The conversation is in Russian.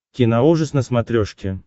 киноужас на смотрешке